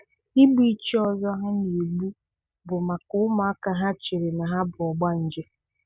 Ịgbu ichie ọzọ ha na-egbu bụ maka ụmụaka ha chere na ha bụ ogbanje